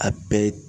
A bɛɛ